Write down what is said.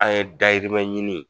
An ye dayirimɛ ɲini